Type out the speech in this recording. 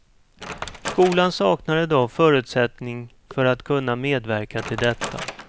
Skolan saknar i dag förutsättning för att kunna medverka till detta.